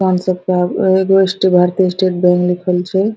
एगो स्टे Bharatiya state bank लिखल छै।